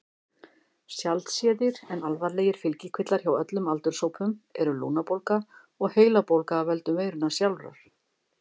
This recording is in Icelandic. Sjaldséðir en alvarlegir fylgikvillar hjá öllum aldurshópum eru lungnabólga og heilabólga af völdum veirunnar sjálfrar.